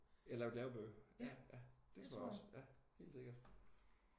Ja lavet lærebøger? Ja ja det tror jeg også. Ja helt sikkert